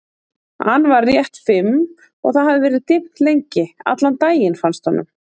an var rétt fimm og það hafði verið dimmt lengi, allan daginn, fannst honum.